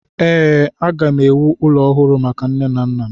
Ee, aga m ewu ụlọ ọhụrụ maka nne na nna m.